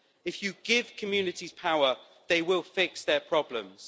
If you give communities power, they will fix their problems.